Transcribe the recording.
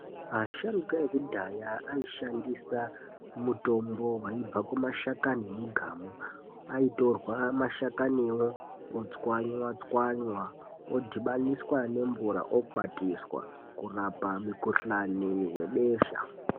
Asharuka ekudhaya aishandisa mutombo vaibva kumashakani mugamu. Aitorwa mashakanivo otswanywa-tswanywa odhibaniswa nemvura okwatiswa kurapa mikuhlani vebesha.